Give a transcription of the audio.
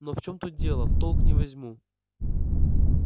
но в чем тут дело в толк не возьму